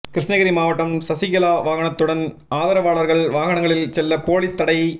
கிருஷ்ணகிரி மாவட்டம் சசிகலா வாகனத்துடன் ஆதரவாளர்கள் வாகனங்களில் செல்ல போலீஸ் தடை